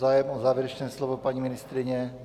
Zájem o závěrečné slovo, paní ministryně?